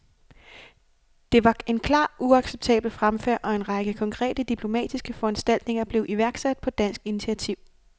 Dette var en klart uacceptabel fremfærd, og en række konkrete diplomatiske foranstaltninger blev iværksat på dansk initiativ.